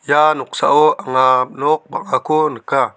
ia noksao anga nok bang·ako nika.